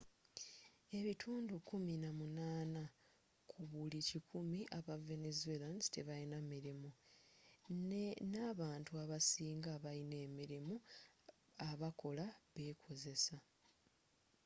ebitundu kumi na munana ku buli kikumi aba venezuelans tebayina mirimu, ne abantu abasinga abayina emirirmu abakola be kozesa